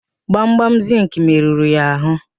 Gbamgbam zịnkị merụrụ ya ahụ.